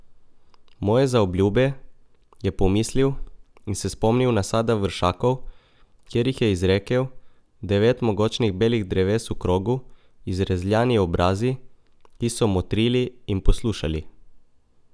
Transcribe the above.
Moje zaobljube, je pomislil in se spomnil nasada vršakov, kjer jih je izrekel, devet mogočnih belih dreves v krogu, izrezljani obrazi, ki so motrili in poslušali.